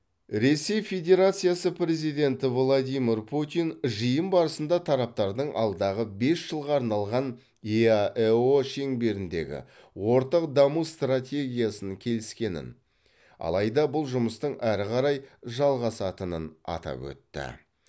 ресей федерациясы президенті владимир путин жиын барысында тараптардың алдағы бес жылға арналған еаэо шеңберіндегі ортақ даму стратегиясын келіскенін алайда бұл жұмыстың әрі қарай жалғасатынын атап өтті